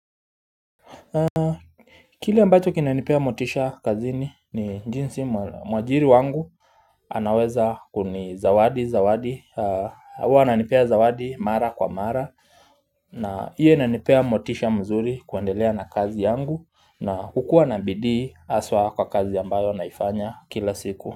Kile ambacho kinanipea motisha kazini ni jinsi mwajiri wangu anaweza kuni zawadi zawadi huwa ananipea zawadi mara kwa mara na iyo inanipea motisha mzuri kuendelea na kazi yangu na hukua na bidii haswa kwa kazi ambayo naifanya kila siku.